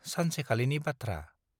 सानसेखालिनि बाथ्रा ।